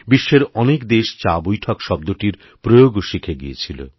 বিশ্বেরঅনেক দেশ চাবৈঠক শব্দটির প্রয়োগও শিখে গিয়েছিল